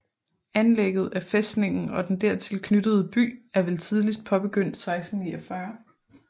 Anlægget af fæstningen og den dertil knyttede by er vel tidligst påbegyndt 1649